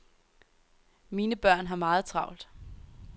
Mine børn har meget travlt.